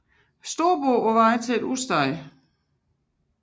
Storbåd på vej til et udsted